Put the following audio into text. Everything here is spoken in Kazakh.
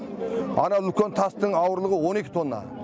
анау үлкен тастың ауырлығы он екі тонна